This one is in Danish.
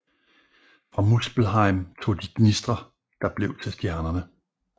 Fra Muspelheim tog de gnistrer der blev til stjernerne